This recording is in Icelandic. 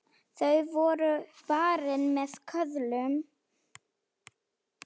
Þau voru varin með köðlum.